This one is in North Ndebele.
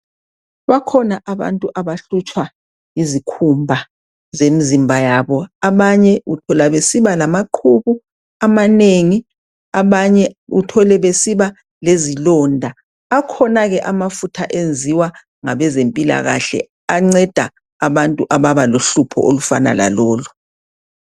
Bakhona abantu abahlutshwa yizikhumba zemzimba yabo. Abanye uthola besiba lamaqhubu amanengi abanye uthole besiba lezilonda. Akhona-ke amafutha enziwa ngabezempilakahle anceda abantu ababa lohlupho olufana lalolu.